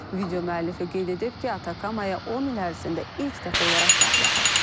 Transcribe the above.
Video müəllifi qeyd edib ki, Atakamaya 10 il ərzində ilk dəfə olaraq qar yağıb.